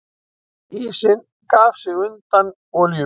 Ísinn gaf sig undan olíubíl